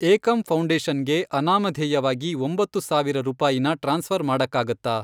ಏಕಂ ಫೌ಼ಂಡೇಷನ್ಗೆ ಅನಾಮಧೇಯವಾಗಿ ಒಂಬತ್ತು ಸಾವಿರ ರೂಪಾಯಿನ ಟ್ರಾನ್ಸ್ಫ಼ರ್ ಮಾಡಕ್ಕಾಗತ್ತಾ?